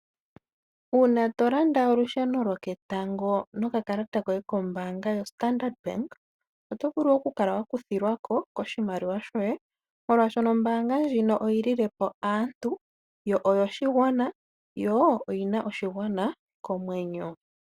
Uuna tolanda olusheno loketango noka kalata koye kombaanga yoStandard oto vulu oku kala wakuthilwako koshimaliwa shoye, molwaashoka ombaanga ndjino oyi lilepo aantu, oyo shigwana yo oyina oshigwana komwenyo.